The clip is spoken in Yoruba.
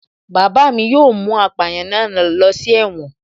Bàbá mi yóò mú apàyàn náà ló si ẹ̀wọ̀n